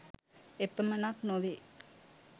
එපමණක් නොවේ,